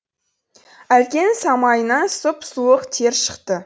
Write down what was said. әлкенің самайынан сұп суық тер шықты